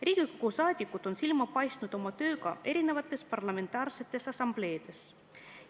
Riigikogu liikmed on silma paistnud tööga mitmetes parlamentaarsetes assambleedes.